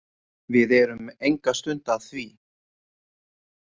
Við erum enga stund að því.